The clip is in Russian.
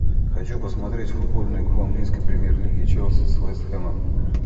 хочу посмотреть футбольную игру английской премьер лиги челси с вест хэмом